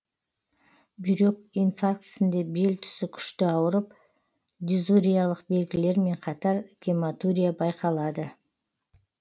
бүйрек инфарктісінде бел тұсы күшті ауырып дизуриялық белгілермен қатар гематурия байқалады